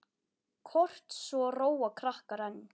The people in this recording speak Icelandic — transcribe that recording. Kort svo róa krakkar enn.